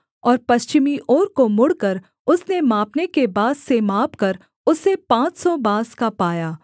और पश्चिमी ओर को मुड़कर उसने मापने के बाँस से मापकर उसे पाँच सौ बाँस का पाया